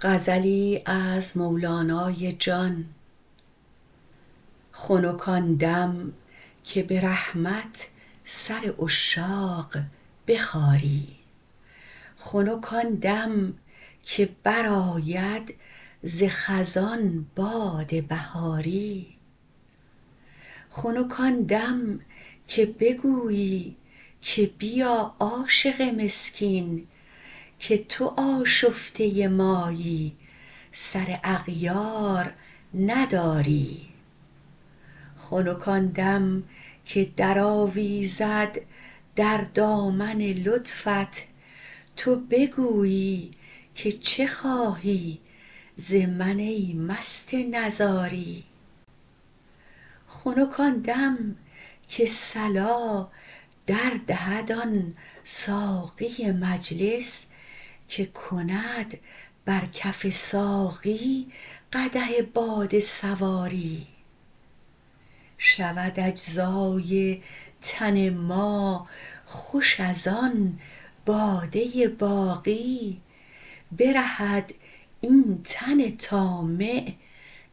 خنک آن دم که به رحمت سر عشاق بخاری خنک آن دم که برآید ز خزان باد بهاری خنک آن دم که بگویی که بیا عاشق مسکین که تو آشفته مایی سر اغیار نداری خنک آن دم که درآویزد در دامن لطفت تو بگویی که چه خواهی ز من ای مست نزاری خنک آن دم که صلا در دهد آن ساقی مجلس که کند بر کف ساقی قدح باده سواری شود اجزای تن ما خوش از آن باده باقی برهد این تن طامع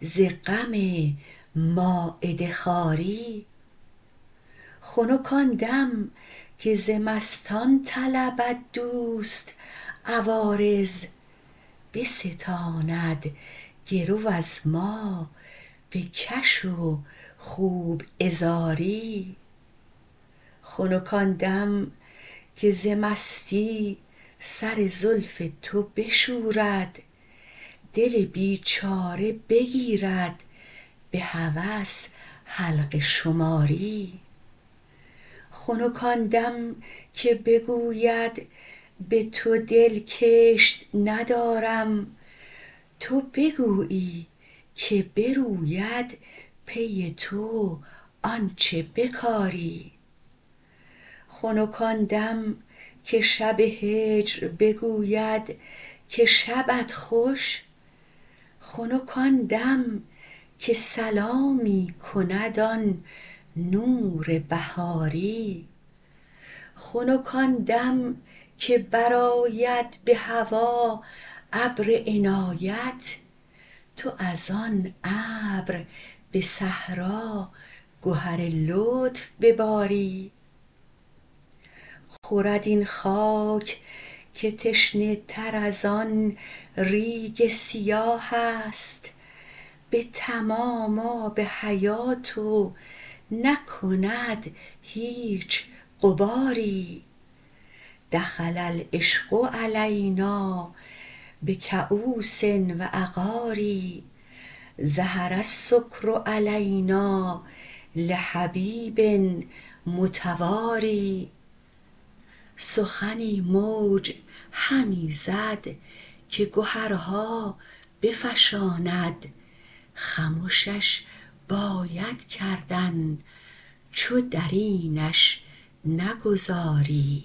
ز غم مایده خواری خنک آن دم که ز مستان طلبد دوست عوارض بستاند گرو از ما بکش و خوب عذاری خنک آن دم که ز مستی سر زلف تو بشورد دل بیچاره بگیرد به هوس حلقه شماری خنک آن دم که بگوید به تو دل کشت ندارم تو بگویی که بروید پی تو آنچ بکاری خنک آن دم که شب هجر بگوید که شبت خوش خنک آن دم که سلامی کند آن نور بهاری خنک آن دم که برآید به هوا ابر عنایت تو از آن ابر به صحرا گهر لطف بباری خورد این خاک که تشنه تر از آن ریگ سیاه است به تمام آب حیات و نکند هیچ غباری دخل العشق علینا بکؤوس و عقار ظهر السکر علینا لحبیب متوار سخنی موج همی زد که گهرها بفشاند خمشش باید کردن چو در اینش نگذاری